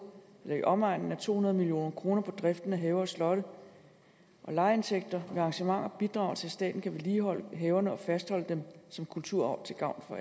i omegnen af to hundrede million kroner på driften af haver og slotte og lejeindtægter ved arrangementer bidrager til at staten kan vedligeholde haverne og fastholde dem som kulturarv til gavn